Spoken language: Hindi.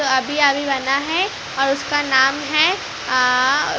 अभी-अभी बना है और उसका नाम है आ --